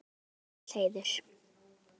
Vá, þetta er mikill heiður.